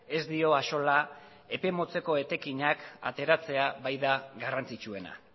ez dio axola epe motzeko etekinak ateratzea baita garrantzitsuena